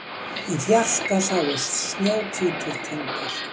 Í fjarska sáust snjóhvítir tindar